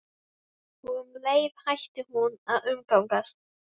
Og um leið hætti hún að umgangast